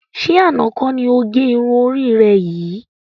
Ṣé àna kọ́ ni ó gẹ irun orí rẹ yìí?